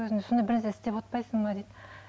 сол кезде сондай бір нәрсе істеп отырмайсың ба дейді